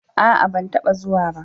A'a, ban taba zuwa ba.